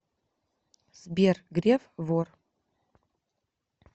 сбер греф вор